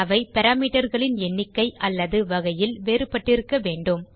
அவை parameterகளின் எண்ணிக்கை அல்லது வகையில் வேறுபட்டிருக்க வேண்டும்